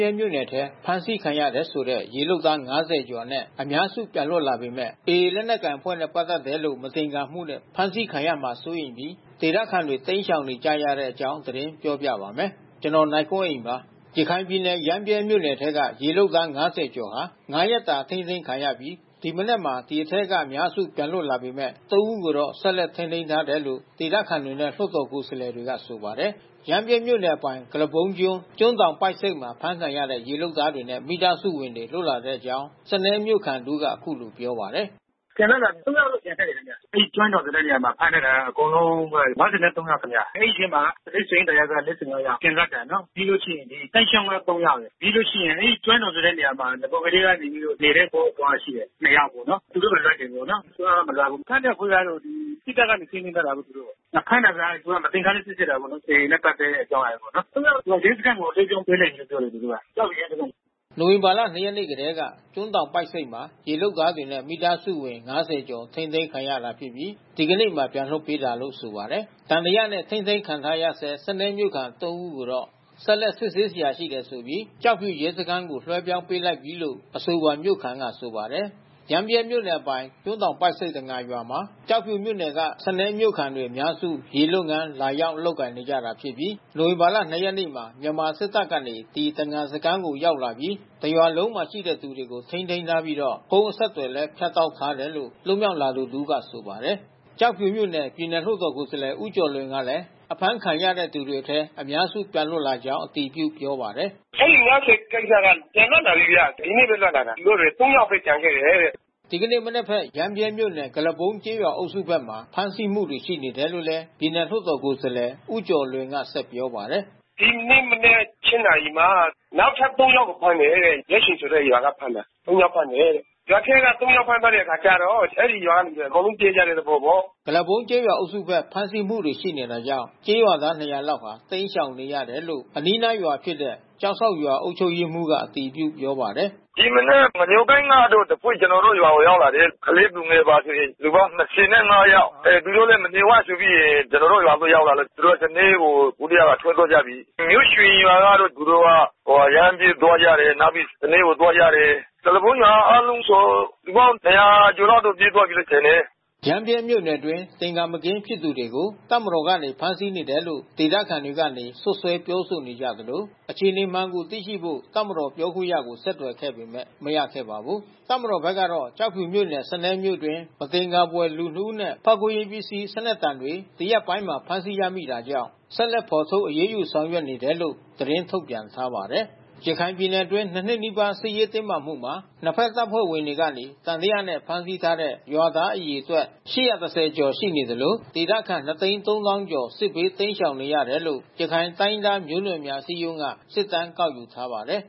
ြဲမြို့နယ်ထဲ ဖမ်းဆီးခံရတယ်ဆိုတဲ့ ရေလုပ်သား ၅၀ ကျော်အနက် အများစု ပြန်လွတ်လာပေမယ့် AA လက်နက်ကိုင်အဖွဲ့နဲ့ ပတ်သက်တယ်လို့ မသင်္ကာမှုနဲ့ ဖမ်းဆီးခံရမှာစိုးရိမ်ပြီး ဒေသခံတွေ တိမ်းရှောင်နေကြပါတယ်။ အပြည့်အစုံကို နိုင်ကွန်းအိန် စုစည်းတင်ပြထားပါတယ်။ ရခိုင်ပြည်နယ် ရမ်းဗြဲမြို့နယ်ထဲက ရေလုပ်သား ၅၀ ကျော်ဟာ ၅ ရက်တာ အထိန်းသိမ်းခံရပြီး ဒီမနက်မှာ ဒီအထဲက အများစု ပြန်လွတ်လာခဲ့ပေမယ့် ၃ ဦးကိုတော့ ဆက်လက်ထိန်းသိမ်းထားတယ်လို့ ဒေသခံတွေနဲ့ လွှတ်တော်ကိုယ်စားလှယ်တွေက ဆိုပါတယ်။ ရမ်းဗြဲမြို့နယ်အပိုင် ကုလားပုန်းကျွန်း၊ ကျွန်းတောင်ပိုက်ဆိပ်မှာ အဖမ်းခံရတဲ့ ရေလုပ်သားတွေနဲ့ မိသားစုဝင်တွေ လွတ်လာတဲ့အကြောင်း စနဲမြို့ခံတဦးက အခုလိုပြောပါတယ်။ “ပြန်လွတ်လာပြီခင်ဗျ။ ၃ ယောက်လောက်ကျန်ခဲ့တယ်ခင်ဗျ။ အဲဒီ ကျွန်းတောင်ဆိုတဲ့ နေရာမှာ ဖမ်းထားတာက အကုန်လုံး ၅၃ ယောက်ခင်ဗျ။ အဲဒီအထဲမှာ ကျနော်တို့ ရွှေဟင်္သာရပ်ကွက်က ၄၅ ယောက် ပြန်လွတ်တာနော်။ ပြီးလို့ရှိရင် သိုင်းချောင်းက ၃ ယောက်။ ပြီးလို့ရှိရင် အဲဒီ ကျွန်းတောင်ဆိုတဲ့နေရာမှာ နဂိုကတည်းကနေတဲ့သူ အဘိုး အဘွား ၂ ယောက်ပေါ့နော်၊ သူတို့ကို လွှတ်တယ်ပေါ့နော်။ ၃ ယောက်က မလွတ်ဘူး။ ဖမ်းတဲ့အဖွဲ့ကတော့ စစ်တပ်က ထိန်းသိမ်းထားတယ်လို့ ပြောတယ်။ ဖမ်းတာက သူတို့က မသင်္ကာလို့ စစ်ဆေးတာပေါ့နော်။ AA နဲ့ပတ်သက်တဲ့ အကြောင်းအရာတွေပေါ့နော်။ ၃ ယောက်က ရဲစခန်းကို ပြန်လွှဲပြောင်းပေးလိုက်တယ်လို့ ပြောတယ် သူတို့က။ ကျောက်ဖြူရဲစခန်းကို။” နိုဝင်ဘာ ၂ ရက်နေ့ကတည်းက ကျွန်းတောင်ပိုက်ဆိပ်မှာ ရေလုပ်သားတွေနဲ့ မိသားစုဝင် ၅၀ ကျော် ထိန်းသိမ်းခံရတာဖြစ်ပြီး ဒီကနေ့မှာ ပြန်လွှတ်ပေးတာလို့ ဆိုပါတယ်။ သံသယနဲ့ ထိန်းသိမ်းခံထားရဆဲ စနဲမြို့ခံ ၃ ဦးကိုတော့ ဆက်လက်စစ်ဆေးစရာ ရှိတယ်ဆိုပြီး ကျောက်ဖြူရဲစခန်းကို လွှဲပြောင်းပေးလိုက်ပြီလို့ အဆိုပါမြို့ခံက ဆိုပါတယ်။ ရမ်းဗြဲမြို့နယ်အပိုင် ကျွန်းတောင်ပိုက်ဆိပ် တံငါရွာမှာ ကျောက်ဖြူမြို့နယ် စနဲမြို့ခံတွေက အများစု ရေလုပ်ငန်း လာရောက်လုပ်ကိုင်နေကြတာဖြစ်ပြီး နိုဝင်ဘာ ၂ ရက်နေ့မှာ မြန်မာစစ်တပ်ကနေ ဒီတံငါစခန်းကို ရောက်လာပြီး တရွာလုံးရှိတဲ့သူတွေကို ထိန်းသိမ်းထားပြီးတော့ ဖုန်းအဆက်သွယ်လည်း ဖြတ်တောက်ထားတယ်လို့ လွတ်မြောက်လာသူတဦးက ဆိုပါတယ်။ ကျောက်ဖြူမြို့နယ် ပြည်နယ်လွှတ်တော်ကိုယ်စားလှယ် ဦးကျော်လွင်ကလည်း အဖမ်းခံရသူတွေထဲက အများစု ပြန်လွတ်လာကြောင်း အတည်ပြုပြောပါတယ်။ “အဲဒီ ၅၀ ဦးက ပြန်လွတ်လာပြီခင်ဗျ။ ဒီနေ့ပဲ လွတ်လာတာ။ သူတို့တွေ ၃ ယောက်ပဲ ကျန်ခဲ့တယ်တဲ့။” ဒီကနေ့မနက်ဘက် ရမ်းဗြဲမြို့နယ် ကုလားပုန်းကျေးရွာအုပ်စုဘက်မှာ ဖမ်းဆီးမှုတွေ ရှိနေတယ်လို့ ပြည်နယ်လွှတ်တော်ကိုယ်စားလှယ် ဦးကျော်လွင်က ဆက်ပြောပါတယ်။ “ဒီနေ့မနက် ၈ နာရီမှာ နောက်ထပ် ၃ ယောက် ဖမ်းတယ်တဲ့၊ မြို့ချိန်ဆိုတဲ့ရွာက ဖမ်းတာ။ ၃ ယောက်ဖမ်းတယ်တဲ့။ ရွာထဲက ၃ ယောက် ဖမ်းထားတဲ့အခါကျတော့ အဲဒီရွာကလူတွေ အကုန်လုံး ပြေးကြတဲ့သဘောပေါ့။” ကုလားပုန်းကျေးရွာအုပ်စုဘက် ဖမ်းဆီးမှုတွေ ရှိနေတာကြောင့် ကျေးရွာသား ၂၀၀ လောက် တိမ်းရှောင်နေရတယ်လို့ အနီးနားရွာဖြစ်တဲ့ ကျောက်စောင့်ရွာ အုပ်ချုပ်ရေးမှူးက အတည်ပြုပြောပါတယ်။ “ဒီမနက် ငညိုသိုင်းကတော့တဖွဲ့ ကျနော်တို့ရွာကို ရောက်တယ်။ ကလေးသူငယ်ပါဆို လူပေါင်း ၂၅ ယောက်။ သူတို့လည်း မနေဝံ့ဆိုပြီးရင် ကျနော်တို့ရွာဘက် ရောက်လာလို့ သူတို့ စနဲကို အခုကတည်းက ထွက်သွားကြပြီ။ မြို့ချိန်ရွာကတော့ သူတို့ ရမ်းဗြဲသွားကြတယ်။ နောက်ပြီး စနဲကိုသွားကြတယ်။ ကုလားပုန်းရွာ အားလုံးဆို လူပေါင်း ၂၀၀ ကျော်လောက် ပြေးကြပြီထင်တယ်။” ရမ်းဗြဲမြို့နယ်အတွင်း သင်္ကာမကင်းဖြစ်သူတွေကို တပ်မတော်ကနေ ဖမ်းဆီးနေတယ်လို့ ဒေသခံတွေကနေ စွပ်စွဲပြောဆိုနေသလို အခြေအနေမှန်ကိုသိရှိဖို့ တပ်မတော်ပြောခွင့်ရကို ဆက်သွယ်ခဲ့ပေမယ့် မရခဲ့ပါဘူး။ တပ်မတော်ဘက်ကတော့ ကျောက်ဖြူမြို့နယ် စနဲမြို့အတွင်း မသင်္ကာဘွယ်လူ ၂ ဦးနဲ့ ဖောက်ခွဲရေးပစ္စည်း စနက်တံတွေ ဒီရက်ပိုင်းတွေမှာ ဖမ်းဆီးရမိတာကြောင့် ဆက်လက်ဖော်ထုတ် အရေးယူဆောင်ရွက်နေတယ်လို့ သတင်းထုတ်ပြန်ထားပါတယ်။ ရခိုင်ပြည်နယ်အတွင်း ၂ နှစ်နီးပါး စစ်ရေးတင်းမာမှုမှာ နှစ်ဖက်တပ်ဖွဲ့ဝင်တွေကနေ သံသယနဲ့ ဖမ်းဆီးထားတဲ့ ရွာသားအရေအတွက် ၈၁၀ ကျော်ရှိနေသလို ဒေသခံ ၂၃၀,၀၀၀ ကျော် စစ်ဘေးတိမ်းရှောင်နေရတယ်လို့ ရခိုင်တိုင်းရင်းသားမျိုးနွယ်များ အစည်းအရုံးက စစ်တမ်းကောက်ယူထားပါတယ်